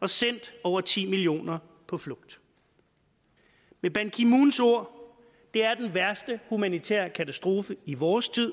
og sendt over ti millioner på flugt med ban ki moons ord det er den værste humanitære katastrofe i vores tid